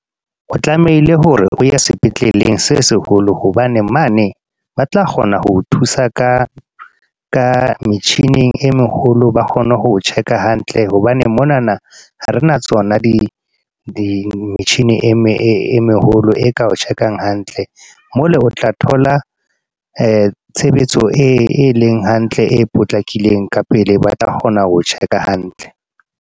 O tlamehile hore, o ye sepetleleng se seholo. Hobane mane, ba tla kgona ho o thusa ka ka metjhini e meholo. Ba kgone ho check-a hantle. Hobane monana, ha re na tsona di-machine e meholo e ka o check-ang hantle. Mo le o tla thola, tshebetso e leng hantle, e potlakileng ka pele ba tla kgona ho o check-a hantle.